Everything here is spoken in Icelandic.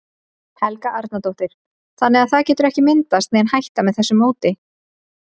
Helga Arnardóttir: Þannig að það getur ekki myndast nein hætta með þessu móti?